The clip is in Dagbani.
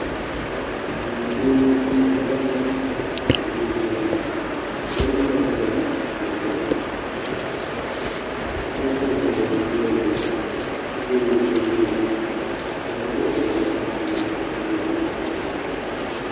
Duu puuni ka niriba ʒin ʒi dini niriba maa dirila bindirigu ninvuɣu yino ye la o liiga ka ninvuɣu yino gba ye liiga ʒee